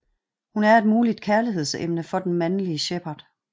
Hun er et muligt kærligheds emne for den mandelige Shepard